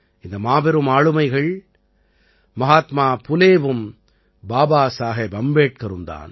இந்த மாபெரும் ஆளுமைகள் மஹாத்மா புலேவும் பாபாசாஹேப் அம்பேட்கரும் தான்